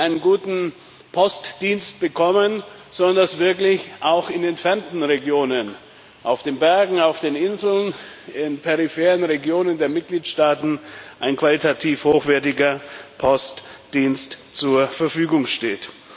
einen guten Postdienst bekommen, sondern dass wirklich auch in entfernten Regionen auf den Bergen, auf den Inseln, in peripheren Regionen der Mitgliedstaaten ein qualitativ hochwertiger Postdienst zur Verfügung steht.